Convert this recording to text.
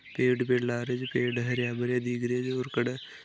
पेड़ वेड लागे छे पेड़ हरिया भरिया दिख रहियो है कडा--